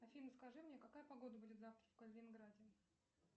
афина скажи мне какая погода будет завтра в калининграде